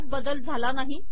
यात बदल झाला नाही